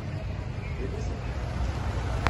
Petdeset?